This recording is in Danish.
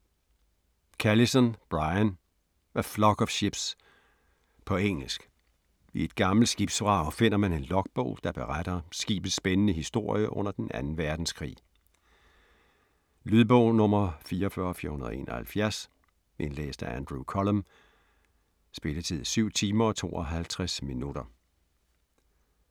Callison, Brian: A flock of ships På engelsk. I et gammelt skibsvrag finder man en logbog, der beretter skibets spændende historie under den anden verdenskrig. Lydbog 44471 Indlæst af Andrew Cullum. Spilletid: 7 timer, 52 minutter.